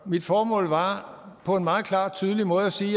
mit formål var på en meget klar og tydelig måde at sige